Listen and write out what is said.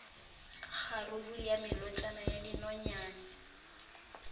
kgaruru ya melotšana ya dinonyane